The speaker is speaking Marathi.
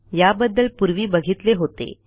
याबद्दल पूर्वी बघीतले होते